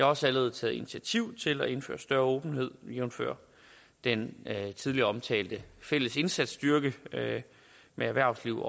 også allerede taget initiativ til at indføre større åbenhed jævnfør den tidligere omtalte fælles indsatsstyrke med erhvervslivet